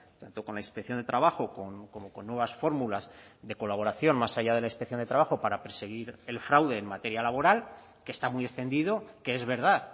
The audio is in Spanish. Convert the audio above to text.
tanto con la inspección de trabajo como con nuevas fórmulas de colaboración más allá de la inspección de trabajo para perseguir el fraude en materia laboral que está muy extendido que es verdad